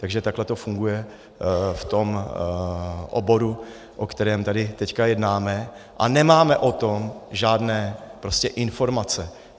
Takže takhle to funguje v tom oboru, o kterém tady teď jednáme a nemáme o tom žádné informace.